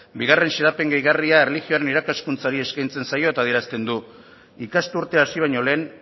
bigarren xedapen gehigarria erlijioaren irakaskuntzari eskaintzen zaio eta adierazten du ikasturtea hasi baino lehen